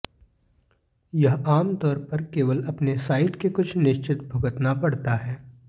यह आमतौर पर केवल अपने साइट के कुछ निश्चित भुगतना पड़ता है